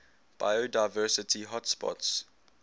biodiversity hotspots